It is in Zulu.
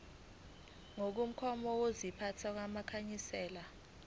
ngokomgomo wokuziphatha wamakhansela